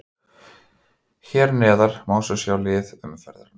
Hér neðar má svo sjá lið umferðarinnar.